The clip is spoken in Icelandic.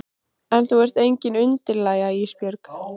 En þú ert engin undirlægja Ísbjörg.